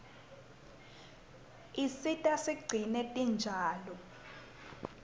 isisita sigcine tinjalo